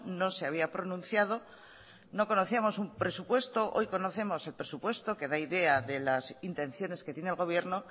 no se había pronunciado no conocíamos un presupuesto y hoy conocemos el presupuesto que da idea de las intenciones que tiene el gobierno